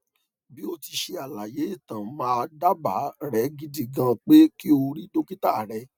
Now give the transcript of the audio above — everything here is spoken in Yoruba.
bi oti se alaye itan my daaba re gidi gan pe ki o ri dokita re